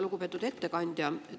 Lugupeetud ettekandja!